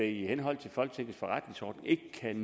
i henhold til folketingets forretningsorden ikke kan